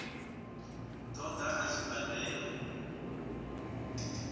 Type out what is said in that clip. ṱo ḓa a tshi badela